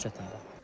Çox çətindir.